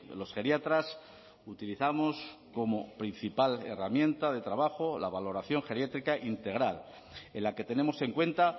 los geriatras utilizamos como principal herramienta de trabajo la valoración geriátrica integral en la que tenemos en cuenta